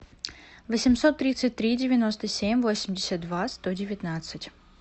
восемьсот тридцать три девяносто семь восемьдесят два сто девятнадцать